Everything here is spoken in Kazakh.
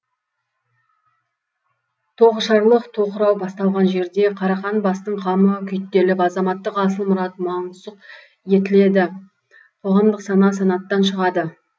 тоғышарлық тоқырау басталған жерде қарақан бастың қамы күйттеліп азаматтық асыл мұрат мансұқ етіледі қоғамдық сана санаттан шығады